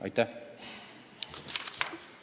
Aitäh!